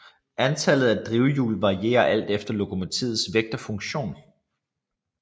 Antallet af drivhjul varier alt efter lokomotivets vægt og funktion